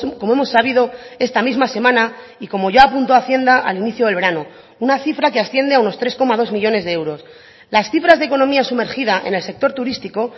como hemos sabido esta misma semana y como ya apuntó hacienda al inicio del verano una cifra que asciende a unos tres coma dos millónes de euros las cifras de economía sumergida en el sector turístico